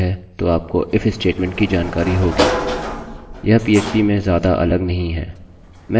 यह पीएचपीphp में ज्यादा अलग नहीं है मैं अभी शीघ्र ही एक निष्पादित करूँगा और आपको दिखाऊँगा